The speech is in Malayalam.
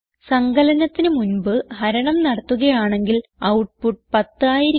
സങ്കലനത്തിന് മുൻപ് ഹരണം നടത്തുകയാണെങ്കിൽ ഔട്ട്പുട്ട് 10 ആയിരിക്കും